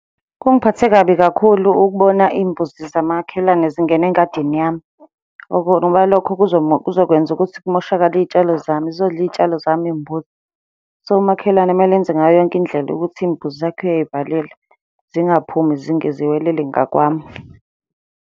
Kungiphathe kabi kakhulu ukubona iy'mbuzi zamakhelwana zingena engadini yami, ngoba lokho kuzokwenza ukuthi kumoshakale iy'tshalo zami, zizodla iy'tshalo zami iy'mbuzi. So, umakhelwane kumele enze ngayo yonke indlela ukuthi iy'mbuzi zakhe uyay'valela zingaphumi ziwelele ngakwami.